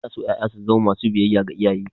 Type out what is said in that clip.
Ana so ƴaƴa su zamo masu biyayya ga iyaye.